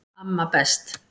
Amma best